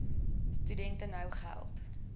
studente nou geld